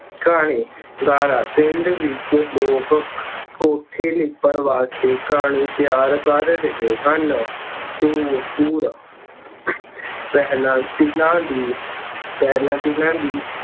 ਘਾਣੀ- ਗਾਰਾ- ਪਿੰਡ ਵਿੱਚ ਲੋਕ ਕੇਠੇ ਲਿੱਪਣ ਵਾਸਤੇ ਘਾਣੀ ਤਿਆਰ ਕਰ ਰਹੇ ਹਨ। ਦੋ ਤੁਰ- ਪਹਿਲਾਂ ਤਿਲਾਂ ਦੀ, ਪਹਿਲਾਂ ਤਿਲਾਂ ਦੀ